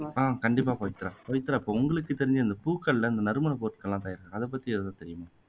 ஆஹ் கண்டிப்பா பவித்ரா, பவித்ரா இப்போ உங்களுக்கு தெரிஞ்ச இந்த பூக்கள்ல நறுமண பொருட்கள் எல்லாம் தயாரி அதை பத்தி எதுவும் தெரியுமா